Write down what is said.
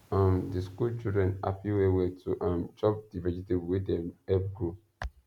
um the school children happy well well to um chop the vegetable wey dem help grow